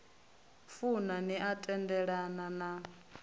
funa ni a tendelana na